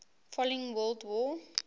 following world war